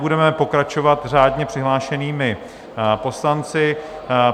Budeme pokračovat řádně přihlášenými poslanci.